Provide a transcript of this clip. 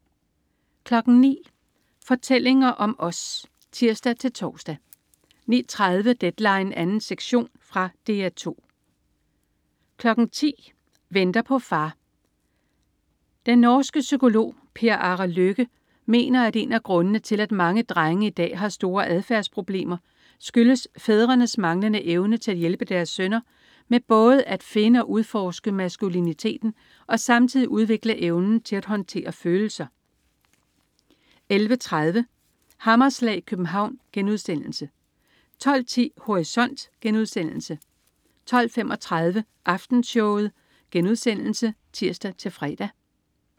09.00 Fortællinger om os (tirs-tors) 09.30 Deadline 2. sektion. Fra DR 2 10.00 Venter på far. Den norske psykolog Per Are Løkke mener, at en af grundene, til at mange drenge i dag har store adfærdsproblemer, skyldes fædrenes manglende evne til at hjælpe deres sønner med både at finde og udforske maskuliniteten og samtidig udvikle evnen til at håndtere følelser 11.30 Hammerslag i København* 12.10 Horisont* 12.35 Aftenshowet* (tirs-fre)